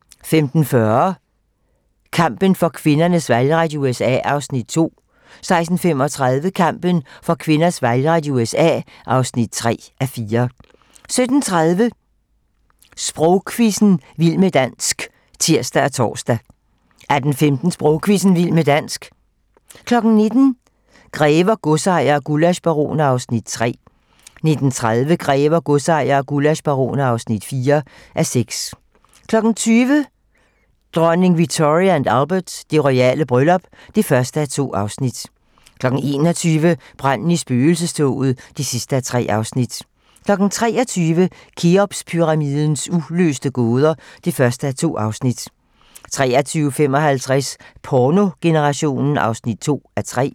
15:40: Kampen for kvinders valgret i USA (2:4) 16:35: Kampen for kvinders valgret i USA (3:4) 17:30: Sprogquizzen - vild med dansk (tir og tor) 18:15: Sprogquizzen – vild med dansk 19:00: Grever, godsejere og gullaschbaroner (3:6) 19:30: Grever, godsejere og gullaschbaroner (4:6) 20:00: Dronning Victoria & Albert: Det royale bryllup (1:2) 21:00: Branden i spøgelsestoget (3:3) 23:00: Kheopspyramidens uløste gåder (1:2) 23:55: Pornogenerationen (2:3)